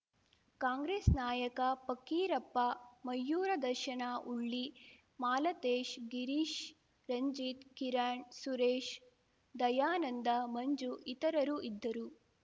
ಕಾಂಗ್ರೆಸ್‌ ನಾಯಕ ಫಕ್ಕೀರಪ್ಪ ಮಯೂರ ದರ್ಶನ ಉಳ್ಳಿ ಮಾಲತೇಶ್‌ ಗೀರೀಶ್‌ ರಂಜಿತ್‌ ಕಿರಣ್‌ ಸುರೇಶ್‌ ದಯಾನಂದ ಮಂಜು ಇತರರು ಇದ್ದರು